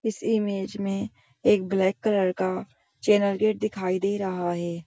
इस इमेज मे एक ब्लैक कलर का चैनल गेट दिखाई दे रहा है।